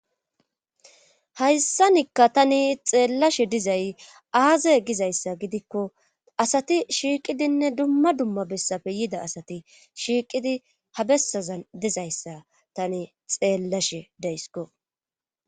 hayssanikka tani xeellashe dizay aaze gizayssa gidikko asati shiiqidinne dumma dumma bessafe yida asati shiiqidi ha bessazan dizayssa tani xeellashe deysiko